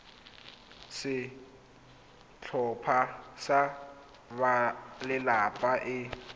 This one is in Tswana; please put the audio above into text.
ya setlhopha sa balelapa e